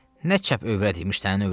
nə çəp övrət imiş sənin övrətin?